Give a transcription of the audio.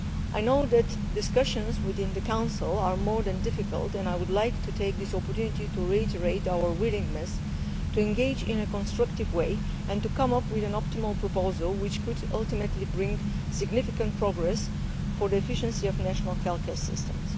I know that discussions within the Council are more than difficult, and I would like to take this opportunity to reiterate our willingness to engage in a constructive way and to come up with an optimal proposal which could ultimately bring significant progress for the efficiency of national healthcare systems.